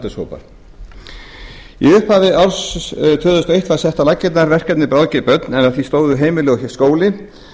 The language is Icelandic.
í upphafi árs tvö þúsund og eitt var sett á laggirnar verkefnið bráðger börn en að því stóðu heimili og skóli